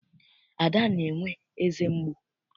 Ada na-enwe eze mgbu.